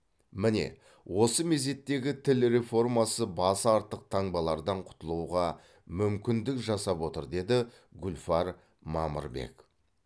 міне осы мезеттегі тіл реформасы басы артық таңбалардан құтылуға мүмкіндік жасап отыр деді гүлфар мамырбек